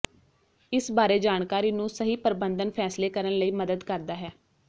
ਇਸ ਬਾਰੇ ਜਾਣਕਾਰੀ ਨੂੰ ਸਹੀ ਪ੍ਰਬੰਧਨ ਫ਼ੈਸਲੇ ਕਰਨ ਲਈ ਮਦਦ ਕਰਦਾ ਹੈ